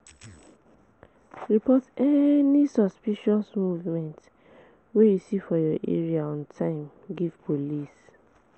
Report any suspicious movement wey you see for your area on time give police